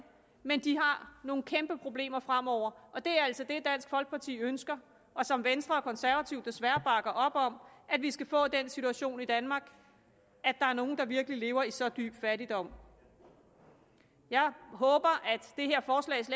men de har nogle kæmpeproblemer fremover og det er altså det dansk folkeparti ønsker og som venstre og konservative desværre bakker op om at vi skal få den situation i danmark at der er nogle der virkelig lever i så dyb fattigdom jeg håber